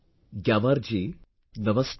Gyamar ji, Namaste